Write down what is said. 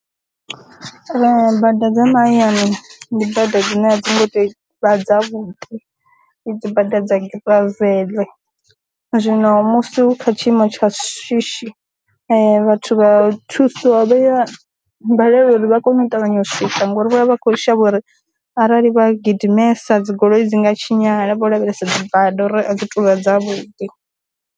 Bada dza ma hayani ndi bada dzine a dzi ngo to vha dza vhuḓi, i dzibada dza giraveḽe, zwino musi u kha tshiimo tsha shishi vhathu vha thuso vhaya balelwa uri vha kone u ṱavhanya u swika ngori vho vha vha kho shavha uri arali vha gidimesa dzi goloi dzi nga tshinyala vho lavhelesa dzi bada uri a dzi tuvha dza vhuḓi.